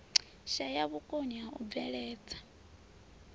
shaya vhukoni ha u bveledza